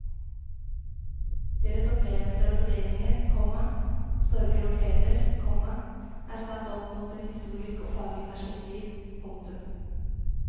Deres opplevelser og vurderinger, komma sorger og gleder, komma er satt opp mot et historisk og faglig perspektiv. punktum